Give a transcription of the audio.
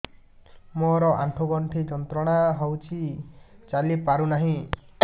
ମୋରୋ ଆଣ୍ଠୁଗଣ୍ଠି ଯନ୍ତ୍ରଣା ହଉଚି ଚାଲିପାରୁନାହିଁ